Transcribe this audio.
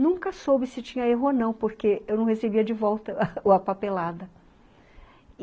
Nunca soube se tinha erro ou não, porque eu não recebia de volta o a papelada.